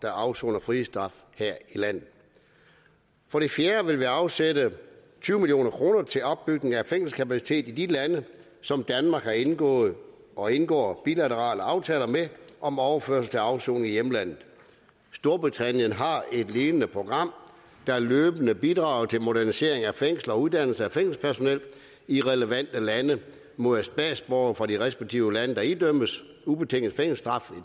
afsoner frihedsstraf her i landet for det fjerde vil vi afsætte tyve million kroner til opbygning af fængselskapacitet i de lande som danmark har indgået og indgår bilaterale aftaler med om overførsel til afsoning i hjemlandet storbritannien har et lignende program der løbende bidrager til modernisering af fængsler og uddannelse af fængselspersonel i relevante lande mod at statsborgerne fra de respektive lande der idømmes ubetinget fængselsstraf